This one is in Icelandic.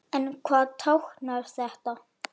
En hvað táknar þetta?